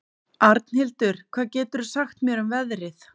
Arnhildur, hvað geturðu sagt mér um veðrið?